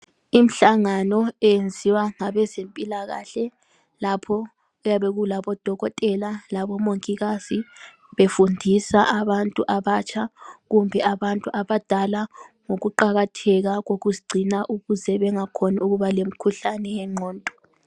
Imihlangano eyenziwa ngabezempilakahle lapho kuyabe kulabodokotela labomongikazi befundisa abantu abatsha kumbe abantu abadala ngokuqakatheka kokuzigcina ukuze bengakhoni ukuba lemikhuhlane yengqondo